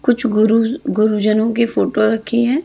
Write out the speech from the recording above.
कुछ गुरु गुरुजनों के फोटो रखी हैं।